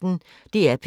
DR P1